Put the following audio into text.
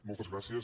moltes gràcies